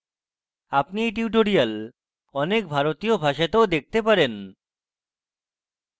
আপনি এই tutorials অনেক ভারতীয় ভাষাতেও দেখতে পারেন